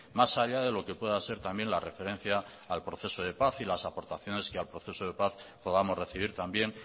más allá de lo que pueda ser también la referencia al proceso de paz y las aportaciones que al proceso de paz podamos recibir también